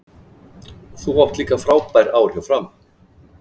Þú áttir líka frábær ár hjá Fram?